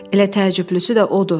Elə təcrübəlisi də odur.